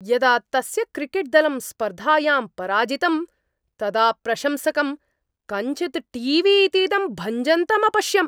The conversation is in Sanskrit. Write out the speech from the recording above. यदा तस्य क्रिकेट्दलम् स्पर्धायां पराजितं तदा प्रशंसकं कञ्चित् टी वी इतीदं भञ्जन्तं अपश्यम्।